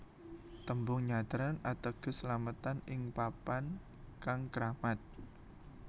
Tembung nyadran ateges slametan ing papan kang kramat